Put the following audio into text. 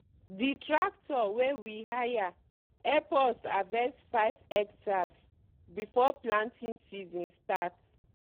the tractor wey we hire help us harverst five hectares before planting season start.